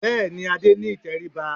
Bẹ́ẹ̀ ni, Adé ní ìtẹríba